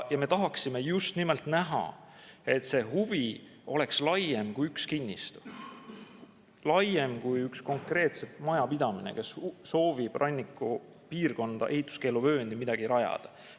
Ja me tahaksime just nimelt näha, et see huvi oleks laiem kui üks kinnistu, laiem kui üks konkreetne majapidamine, kus soovib rannikupiirkonda ehituskeeluvööndisse midagi rajada.